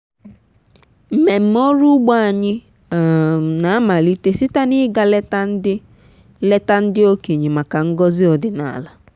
mmemme ọrụ ugbo anyị um na-amalite site na ịga leta ndị leta ndị okenye maka ngọzi ọdịnala.